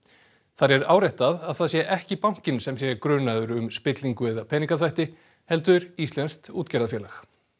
þar er áréttað að það sé ekki bankinn sem sé grunaður um spillingu eða peningaþvætti heldur íslenskt útgerðarfyrirtæki